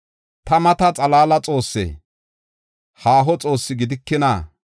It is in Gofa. “Ta mata xalaala Xoossee? Haaho Xoossi gidikina?